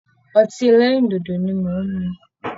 Ọtí ẹlẹ́rìndòdò ni mò ń mu